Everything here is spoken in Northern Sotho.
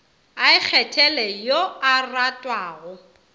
a ikgethele yo a ratwago